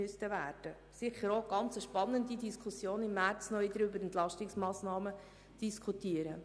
Es wäre sicher sehr interessant, im März noch einmal über Entlastungsmassnahmen zu diskutieren.